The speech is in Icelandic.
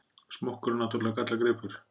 Smokkurinn náttúrlega gallagripur.